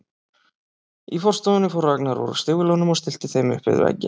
Í forstofunni fór Ragnar úr stígvélunum og stillti þeim upp við vegginn.